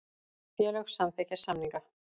Félög samþykkja samninga